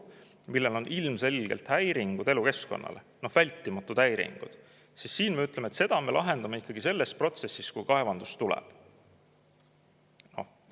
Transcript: Kui siin on ilmselgelt vältimatud häiringud elukeskkonnale, siis me ütleme, et seda me lahendame ikkagi protsessi käigus, kui kaevandus tuleb.